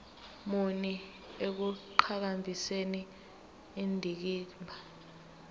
muni ekuqhakambiseni indikimba